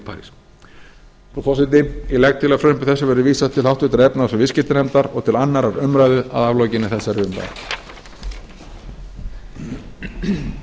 parís frú forseti ég legg til að frumvarpi þessu verði vísað til háttvirtrar efnahags og viðskiptanefndar og til annarrar umræðu að aflokinni þessari umræðu